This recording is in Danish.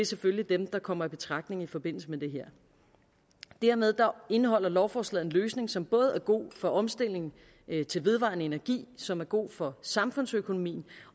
selvfølgelig dem der kommer i betragtning i forbindelse med det her dermed indeholder lovforslaget en løsning som både er god for omstillingen til vedvarende energi som er god for samfundsøkonomien